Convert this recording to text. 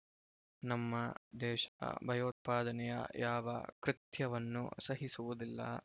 ನಮ್ಮ ದೇಶ ಭಯೋತ್ಪಾದನೆಯ ಯಾವ ಕೃತ್ಯವನ್ನು ಸಹಿಸುವುದಿಲ್ಲ